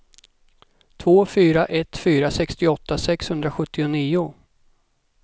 två fyra ett fyra sextioåtta sexhundrasjuttionio